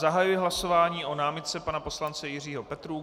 Zahajuji hlasování o námitce pana poslance Jiřího Petrů.